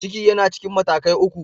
Ciki yana cikin matakai uku.